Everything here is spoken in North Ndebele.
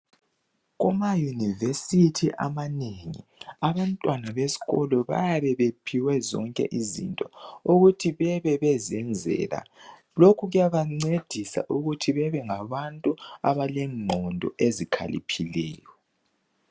Kumayunivesithi amanengi abantwana besikolo bayabe bephiwe zonke izinto ukuthi babebezenzela. Lokhu kuyabancedisa ukuthi babe ngabantu abalengqondo ezikhaliphileyo.